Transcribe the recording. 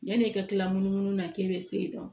Yanni e ka kila munumunu na k'e bɛ se ka